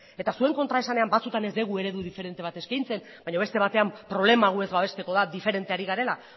eta zuen kontraesanean batzuetan ez dugu eredu diferente bat eskaintzen baina beste batean problema gu ez babesteko da diferente ari garela